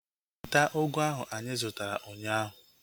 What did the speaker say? Weta ugu ahu anyị zụtara ụnyaahụ!